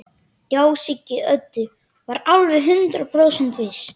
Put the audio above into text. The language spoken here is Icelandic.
Já, Siggi Öddu var alveg hundrað prósent viss.